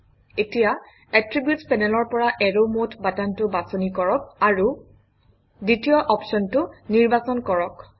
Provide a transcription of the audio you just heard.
এতিয়া এট্ৰিবিউটচ পেনেলৰ পৰা এৰৱ মদে বাটনটো বাছনি কৰক আৰু দ্বিতীয় অপশ্যনটো নিৰ্বাচন কৰক